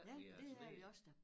Ja det er vi også da